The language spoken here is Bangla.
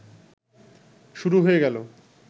শুরু হয়ে গেল